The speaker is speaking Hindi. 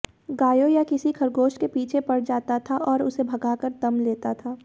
गायों या किसी खरगोश के पीछे पड़ जाता था और उसे भगाकर दम लेता था